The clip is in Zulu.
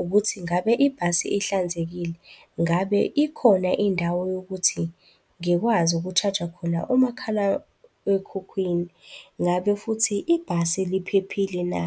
ukuthi, ngabe ibhasi ihlanzekile, ngabe ikhona indawo yokuthi ngikwazi ukushaja khona umakhalekhukhwini, ngabe futhi ibhasi liphephile, na?